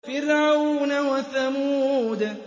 فِرْعَوْنَ وَثَمُودَ